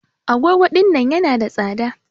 Agogo ɗinnan yana da tsada.